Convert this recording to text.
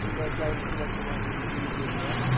Naqillər dəyir külək olan kimi bir-birinə.